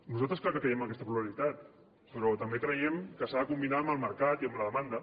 nosaltres clar que creiem en aquesta pluralitat però també creiem que s’ha de combinar amb el mercat i amb la demanda